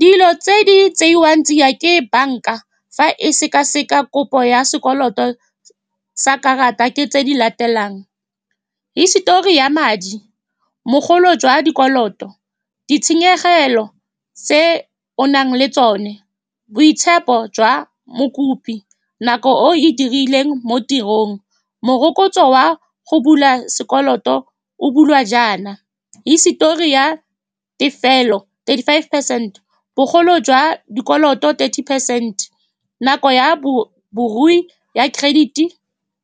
Dilo tse di tseiwang tsia ke banka fa e seka-seka kopo ya sekoloto sa karata ke tse di latelang, hisitori ya madi, mogolo jwa dikoloto, ditshenyegelo tse o nang le tsone, boitshepo jwa mokopi, nako o e dirileng mo tirong. Morokotso wa go bula sekoloto o bula jaana, hisitori ya tefelo, thirty-five percent, bogolo jwa dikoloto thirty percent, nako ya bo borui ya credit-e